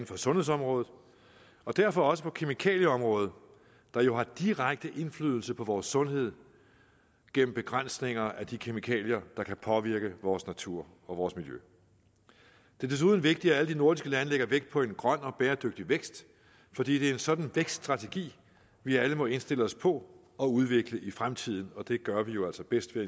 på sundhedsområdet og derfor også på kemikalieområdet der jo har direkte indflydelse på vores sundhed gennem begrænsninger af de kemikalier der kan påvirke vores natur og vores miljø det er desuden vigtigt at alle de nordiske lande lægger vægt på en grøn og bæredygtig vækst fordi det er en sådan vækststrategi vi alle må indstille os på og udvikle i fremtiden og det gør vi jo altså bedst ved